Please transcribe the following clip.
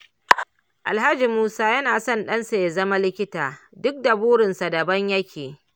Alhaji Musa yana son ɗansa ya zama likita duk da burinsa daban yake.